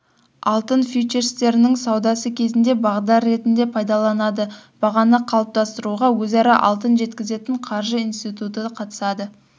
алтын фьючерстерінің саудасы кезінде бағдар ретінде пайдаланылады бағаны қалыптастыруға өзара алтын жеткізетін қаржы институты қатысады